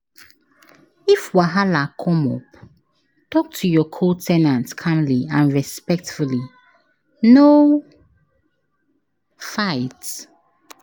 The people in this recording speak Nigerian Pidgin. If wahala come up, talk to your co- ten ant calmly and respectfully, no fight.